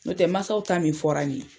N'o tɛ mansaw ta min fɔra nin ye.